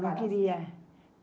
não queria.